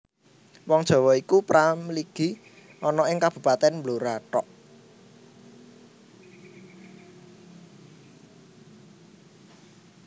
Wong Jawa iku pra mligi ana ing Kabupatèn Blora thok